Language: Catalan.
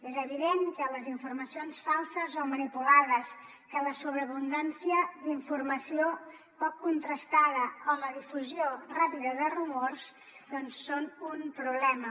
és evident que les informacions falses o manipulades que la sobreabundància d’informació poc contrastada o la difusió ràpida de rumors són un problema